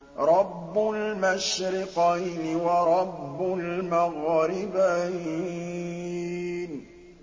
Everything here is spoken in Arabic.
رَبُّ الْمَشْرِقَيْنِ وَرَبُّ الْمَغْرِبَيْنِ